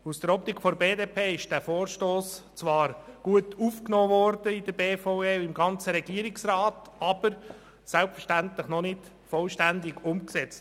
Aus der Optik der BDP-Fraktion wurde dieser Vorstoss in der BVE und im ganzen Regierungsrat zwar gut aufgenommen, aber selbstverständlich noch nicht vollständig umgesetzt.